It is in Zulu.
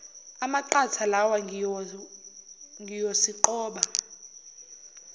amaqatha lawa ngiyosiqoba